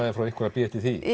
frá ykkur að bíða eftir því